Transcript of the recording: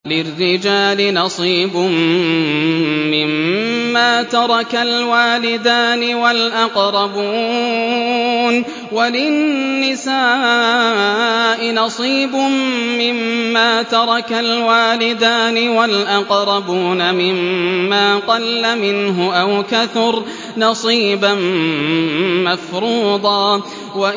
لِّلرِّجَالِ نَصِيبٌ مِّمَّا تَرَكَ الْوَالِدَانِ وَالْأَقْرَبُونَ وَلِلنِّسَاءِ نَصِيبٌ مِّمَّا تَرَكَ الْوَالِدَانِ وَالْأَقْرَبُونَ مِمَّا قَلَّ مِنْهُ أَوْ كَثُرَ ۚ نَصِيبًا مَّفْرُوضًا